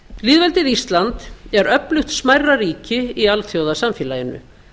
lýðveldið ísland er öflugt smærra ríki í alþjóðasamfélaginu